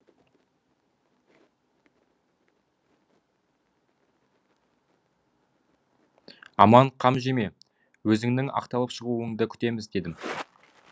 аман қам жеме өзіңнің ақталып шығуыңды күтеміз дедім